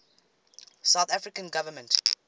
south african government